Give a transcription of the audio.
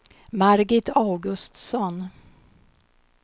Margit Augustsson